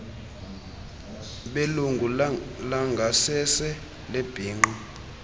belungu langasese lebhinqa